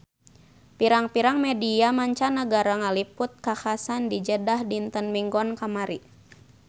Pirang-pirang media mancanagara ngaliput kakhasan di Jeddah dinten Minggon kamari